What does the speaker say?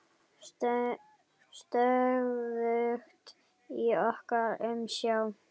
Stöðugt í okkar umsjá.